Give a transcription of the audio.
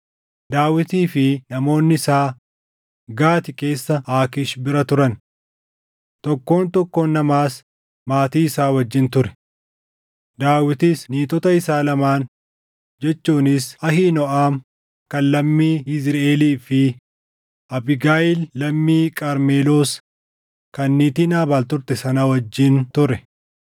Daawitii fi namoonni isaa Gaati keessa Aakiish bira turan. Tokkoon tokkoon namaas maatii isaa wajjin ture; Daawitis niitota isaa lamaan jechuunis Ahiinooʼam kan lammii Yizriʼeelii fi Abiigayiil lammii Qarmeloos kan niitii Naabaal turte sana wajjin ture.